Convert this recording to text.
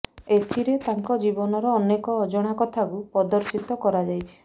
ଏଥିରେ ତାଙ୍କ ଜୀବନର ଅନେକ ଅଜଣା କଥାକୁ ପ୍ରଦର୍ଶୀତ କରାଯାଇଛି